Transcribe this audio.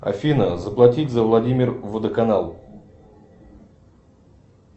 афина заплатить за владимир водоканал